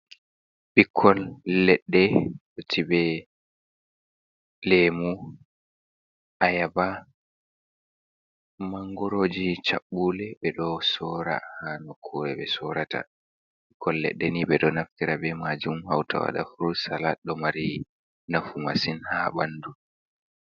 Ɓikkon leɗɗe, jeiɓe leemu, ayaba, mangoroji, caɓɓule ɓeɗon soora ha nokkure ɓe sorata, ɓikkoy leɗɗe ni ɓeɗon naftira be majum hauta waɗa furut salat ɗon mari nafu masin ha banndu.